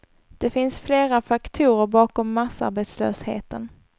Det finns flera faktorer bakom massarbetslösheten.